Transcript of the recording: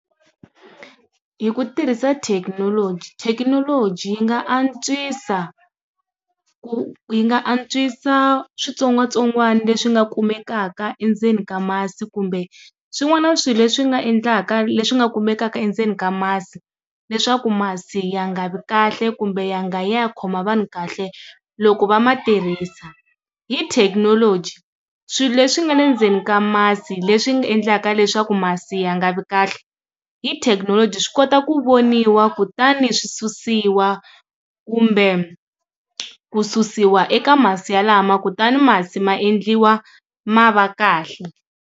Hi ku tirhisa thekinoloji, thekinoloji yi nga antswisa ku yi nga antswisa switsongwatsongwana leswi nga kumekaka endzeni ka masi kumbe swin'wana swilo leswi nga endlaka leswi nga kumekaka endzeni ka masi leswaku masi ya nga vi kahle kumbe ya nga yi ya ya khoma vanhu kahle loko va ma tirhisa hi thekinoloji swilo leswi nga endzeni ka masi leswi swi nga endlaka leswaku masi ya nga vi kahle hi thekinoloji swi kota ku voniwa kutani swi susiwa kumbe ku susiwa eka masi ya lama kutani masi maendliwa ma va kahle.